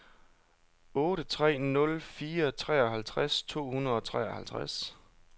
otte tre nul fire treoghalvtreds to hundrede og treoghalvtreds